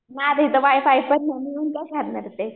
Ma'am इथं wifi पण नाही मग काय करणार ते?